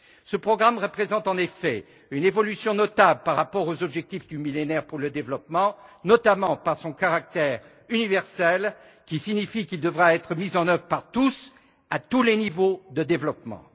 Ce programme représente en effet une évolution notable par rapport aux objectifs du Millénaire pour le développement, notamment par son caractère universel qui signifie qu'il devra être mis en œuvre par tous et à tous les niveaux de développement.